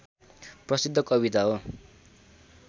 प्रसिद्ध कविता हो